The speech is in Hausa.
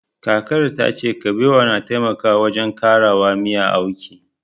Kakar tace Kabewa na taimaka wajen ƙarawa miya auki